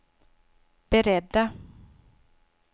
beredda